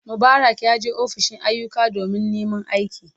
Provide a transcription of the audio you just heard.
Mubarak yaje ofishin ayyuka domin neman aiki.